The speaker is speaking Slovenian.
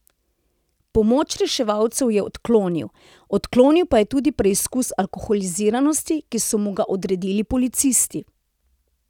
Pomoč reševalcev je odklonil, odklonil pa je tudi preizkus alkoholiziranosti, ki so mu ga odredili policisti.